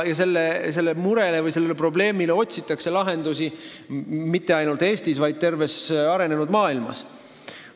Sellele murele või probleemile otsitakse lahendusi mitte ainult Eestis, vaid terves arenenud maailmas.